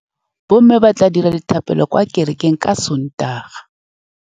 Bommê ba tla dira dithapêlô kwa kerekeng ka Sontaga.